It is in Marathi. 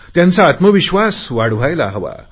त्यांचा आत्मविश्वास वाढायला हवा